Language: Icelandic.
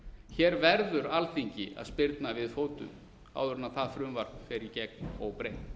hér verður alþingi að spyrna við fótum áður en það frumvarp fer í gegn óbreytt